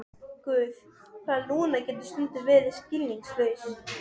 Hann hnýtti því svo við að van